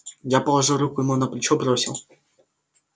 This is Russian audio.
я положил руку ему на плечо бросил